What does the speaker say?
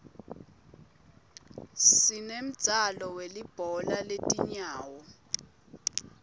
sinemdzalo welibhola letingawo